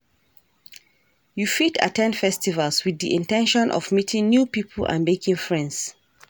You fit at ten d festivals with di in ten tion of meeting new people and making friends.